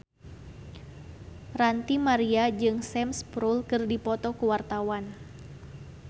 Ranty Maria jeung Sam Spruell keur dipoto ku wartawan